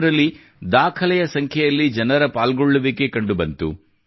ಇದರಲ್ಲಿ ದಾಖಲೆಯ ಸಂಖ್ಯೆಯಲ್ಲಿ ಜನರ ಪಾಲ್ಗೊಳ್ಳುವಿಕೆ ಕಂಡು ಬಂದಿತು